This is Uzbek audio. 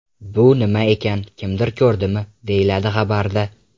Bu nima ekan, kimdir ko‘rdimi?” deyiladi xabarda.